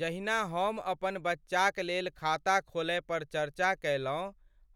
जहिना हम अपन बच्चाक लेल खाता खोलय पर चर्चा कयलहुँ